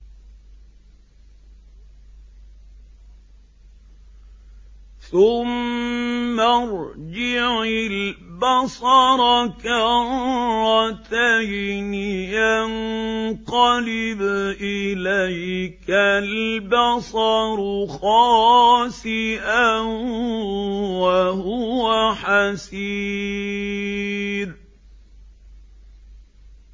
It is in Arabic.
ثُمَّ ارْجِعِ الْبَصَرَ كَرَّتَيْنِ يَنقَلِبْ إِلَيْكَ الْبَصَرُ خَاسِئًا وَهُوَ حَسِيرٌ